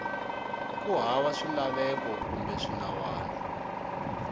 ku hava swilaveko kumbe swinawana